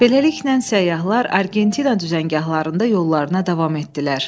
Beləliklə səyyahlar Argentina düzəngahlarında yollarına davam etdilər.